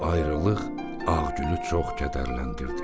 Bu ayrılıq Ağgülü çox kədərləndirdi.